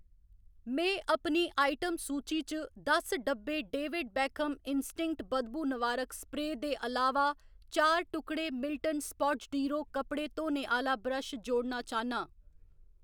में अपनी आइटम सूची च दस डब्बे डेविड बेकहम इंस्टिंक्ट बदबू नवारक स्प्रेऽ दे अलावा चार टुकड़े मिल्टन स्पाटज डीरो कपड़े धोने आह्‌ला ब्रश जोड़ना चाह्‌न्नां।